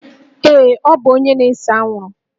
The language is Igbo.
Ee, ọ bụ onye na-ese anwụrụ